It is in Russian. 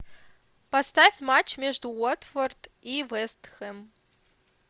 поставь матч между уотфорд и вест хэм